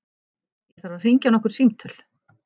Ég þarf að hringja nokkur símtöl.